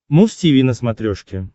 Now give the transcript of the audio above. муз тиви на смотрешке